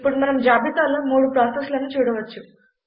ఇప్పుడు మనం జాబితాలో 3 ప్రాసెస్లను చూడవచ్చు